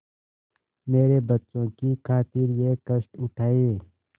मेरे बच्चों की खातिर यह कष्ट उठायें